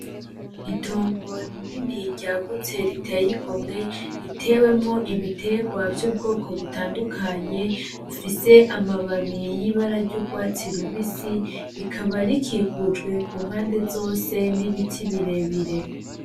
Itongo rinini ryagutse riteye igomwe ritewemwo ibiterwa vy’ubwoko butandukanye ,bifise amababi y’ibara ry’urwatsi rubisi , rikaba rikikujwe ku mpande zose n’ibiti birebire.